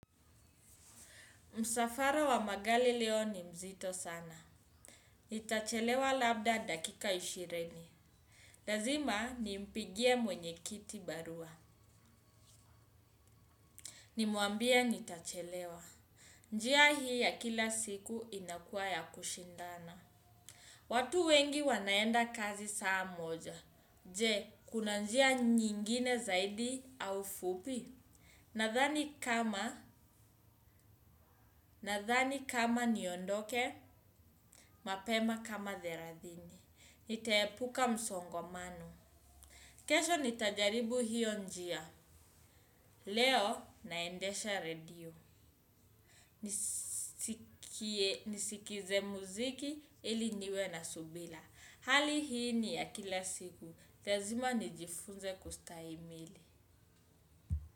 Msafara wa magari leo ni mzito sana. Nitachelewa labda dakika ishirini. Lazima nimpigie mwenyekiti barua. Nimuambie nitachelewa. Njia hii ya kila siku inakua ya kushindana. Watu wengi wanaenda kazi saa moja. Je, kuna njia nyingine zaidi au fupi. Nadhani kama, nadhani kama niondoke, mapema kama thelathini. Nitaepuka msongamano. Kesho nitajaribu hiyo njia. Leo naendesha radio. Nisikize muziki ili niwe na subira. Hali hii ni ya kila siku. Lazima nijifunze kustahimili.